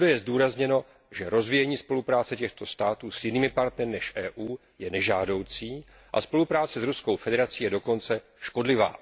Všude je zdůrazněno, že rozvíjení spolupráce těchto států s jinými partnery než Evropskou unií je nežádoucí a spolupráce s Ruskou federací je dokonce škodlivá.